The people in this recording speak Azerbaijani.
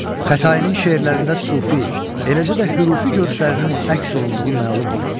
Xətainin şeirlərində sufi, eləcə də hürufi görüşlərinin əks olunduğu məlumdur.